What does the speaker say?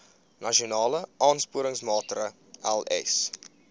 nasionale aansporingsmaatre ls